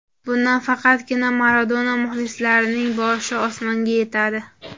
Bundan faqatgina Maradona muxlislarining boshi osmonga yetadi.